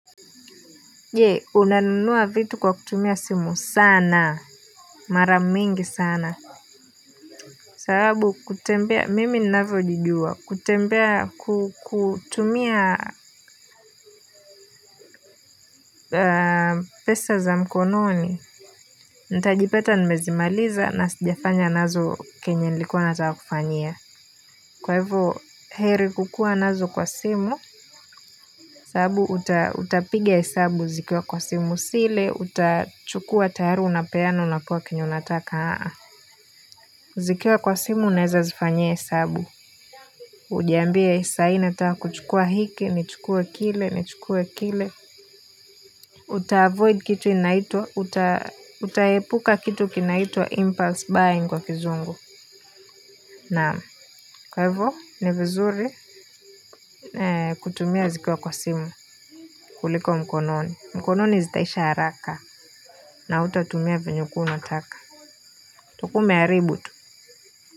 Je, unanunua vitu kwa kutumia simu sana mara mingi sana. Sababu kutembea mimi ninavyo jijua kutembea kutumia pesa za mkononi nitajipata nimezimaliza na sijafanya nazo kenye nilikuwa nataka kufanyia. Kwa hivo heri kukua nazo kwa simu. Sababu utapiga hesabu zikiwa kwa simu si ile utachukua tayari unapeana unapewa kenye unataka zikiwa kwa simu unaweza zifanyia hesabu. Ujiambie sahii nataa kuchukua hiki ni chukue kile ni chukue kile. Utaavoid kitu inaitwa utaepuka kitu kinaitwa impulse buying kwa kizungu naam kwa hivyo ni vizuri. Kutumia zikiwa kwa simu kuliko mkononi mkononi zitaisha haraka na hutatumia vyenye ulikuwa unataka utakuwa umeharibu tu.